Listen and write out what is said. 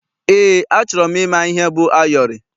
Eé, achọrọ m ịma ihe bụ ayọrị.